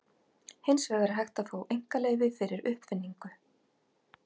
Hins vegar er hægt að fá einkaleyfi fyrir uppfinningu.